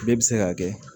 Bɛɛ bɛ se k'a kɛ